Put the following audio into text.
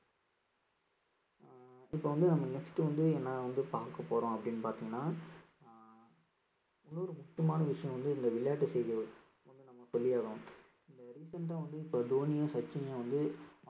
அஹ் இப்ப வந்து நம்ம next வந்து என்ன வந்து பார்க்க போறோம் அப்படீன்னு பார்த்தீங்கன்னா ஆஹ் இன்னொரு முக்கியமான விஷயம் வந்து இந்த விளையாட்டு செய்திகள் recent ஆ வந்து இப்ப தோனியும் சச்சினும் வந்து